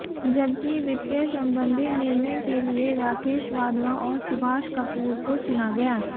जबकि वित्तीय संबंधी निर्णय के लिए राकेश वाधवा और सुभाष कपूर को चुना गया